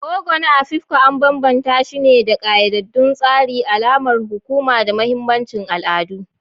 Ogo na Afikpo an bambanta shi da ƙayyadaddun tsari, alamar hukuma, da mahimmancin al'adu.